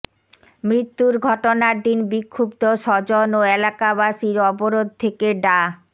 মৃত্যুর ঘটনার দিন বিক্ষুব্ধ স্বজন ও এলাকাবাসীর অবরোধ থেকে ডা